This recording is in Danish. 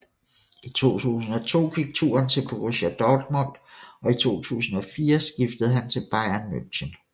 I 2002 gik turen til Borussia Dortmund og i 2004 skiftede han Bayern München